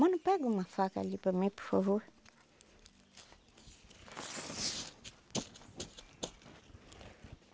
Mano, pega uma faca ali para mim, por favor.